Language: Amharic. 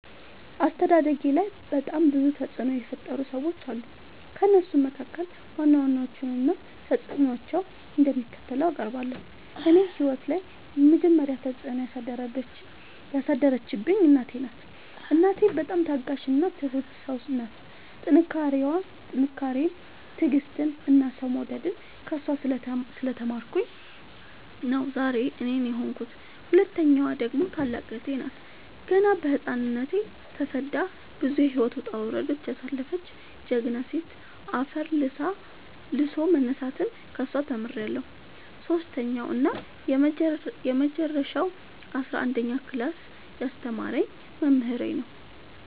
አስተዳደጌላይ በጣም ብዙ ተፅዕኖ የፈጠሩ ሰዎች አሉ። ከእነሱም መካከል ዋና ዋናዎቹን እና ተፅዕኖቸው እንደሚከተለው አቀርባለሁ። እኔ ህይወት ላይ የመጀመሪ ተፅዕኖ ያሳደረችብኝ እናቴ ናት። እናቴ በጣም ታጋሽ እና ትሁት ሰው ናት ጥንካሬን ትዕግስትን እና ሰው መውደድን ከእሷ ስለ ተማርኩኝ ነው ዛሬ እኔን የሆንኩት። ሁለተኛዋ ደግሞ ታላቅ እህቴ ናት ገና በህፃንነቶ ተሰዳ ብዙ የህይወት ወጣውረድ ያሳለፈች ጀግና ሴት አፈር ልሶ መነሳትን ከሷ ተምሬለሁ። ሰሶስተኛው እና የመጀረሻው አስረአንደኛ ክላስ ያስተማረኝ መምህሬ ነው።